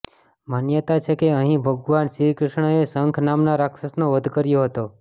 માન્યતા છે કે અહીં ભગવાન શ્રીકૃષ્ણએ શંખ નામના રાક્ષસનો વધ કર્યો હતો